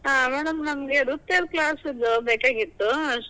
ಹಾ, madam ನಮಗೆ ನೃತ್ಯದ class ದ್ ಬೇಕಾಗಿತ್ತು ಅಸ್~.